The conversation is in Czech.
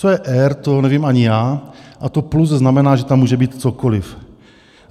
Co je R, to nevím ani já, a to plus znamená, že tam může být cokoliv.